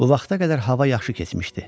Bu vaxta qədər hava yaxşı keçmişdi.